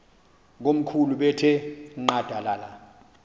komkhulu bethe nqadalala